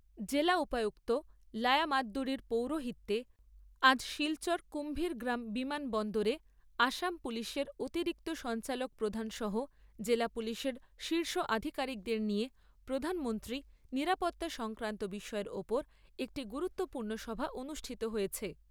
জেলা উপায়ুক্ত লায়া মাদ্দুরীর পৌরোহিত্যে আজ শিলচর কুম্ভীরগ্রাম বিমানবন্দরে আসাম পুলিশের অতিরিক্ত সঞ্চালক প্রধান সহ জেলা পুলিশের শীর্ষ আধিকারিকদের নিয়ে প্রধানমন্ত্রীর নিরাপত্তা সংক্রান্ত বিষয়ের ওপর একটি গুরুত্বপূর্ণ সভা অনুষ্ঠিত হয়েছে।